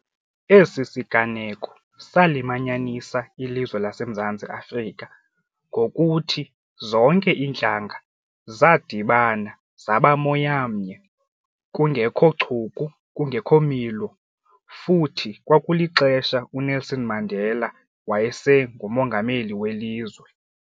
Esi siganeko salimanyanisa ilizwe laseMzantsi Afrika ngokuthi zonke iintlanga zadibana zabo moya mnye kungekho chuku kungekho milo futhi kwakulixesha uNelson Mandela wayesengumongameli welizwe.